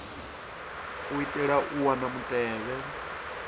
u itela u wana mutevhe